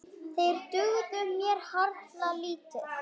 Þeir dugðu mér harla lítið.